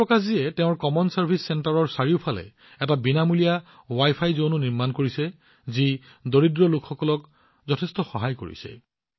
ওম প্ৰকাশজীয়ে তেওঁৰ common service চেণ্টাৰৰ চাৰিওফালে এটা বিনামূলীয়া ৱাইফাই জোন নিৰ্মাণ কৰিছে যি দৰিদ্ৰ লোকসকলক যথেষ্ট সহায় কৰি আছে